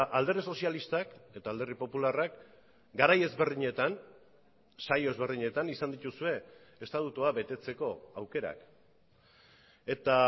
alderdi sozialistak eta alderdi popularrak garai ezberdinetan saio ezberdinetan izan dituzue estatutua betetzeko aukerak eta